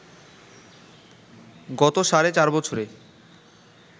গত সাড়ে চার বছরে